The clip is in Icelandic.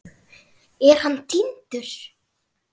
Er hann týndur?